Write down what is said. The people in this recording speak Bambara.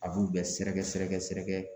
A b'u bɛɛ sɛrɛgɛsɛrɛgɛ.